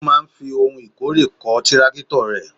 Ó máa ń fi ohun ìkórè kọ́ tírákítọ̀ rẹ̀.